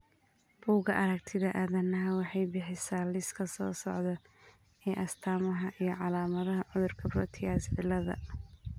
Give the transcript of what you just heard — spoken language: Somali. Bugaa aragtida aDdanaha waxay bixisaa liiska soo socda ee astamaha iyo calaamadaha cudurka Proteus ciladha.